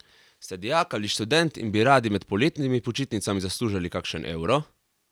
Ste dijak ali študent in bi radi med poletnimi počitnicami zaslužili kakšen evro?